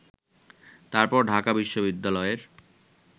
তারপর ঢাকা বিশ্ববিদ্যালয়ের